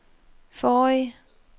forrige